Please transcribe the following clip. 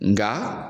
Nga